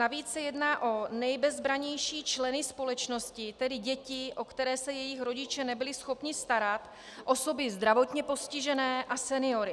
Navíc se jedná o nejbezbrannější členy společnosti, tedy děti, o které se jejich rodiče nebyli schopni starat, osoby zdravotně postižené a seniory.